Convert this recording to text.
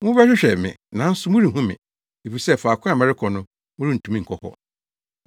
Mobɛhwehwɛ me nanso morenhu me, efisɛ faako a merekɔ no morentumi nkɔ hɔ.”